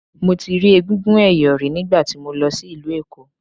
Mo ti rí egúngún ẹ̀yọ̀ rí nígbà tí mo lọ sí ìlú Èkó.